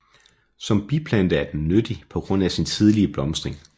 Som biplante er den nyttig på grund af sin tidlige blomstring